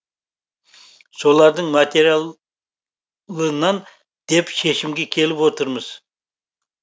солардың материалынан деп шешімге келіп отырмыз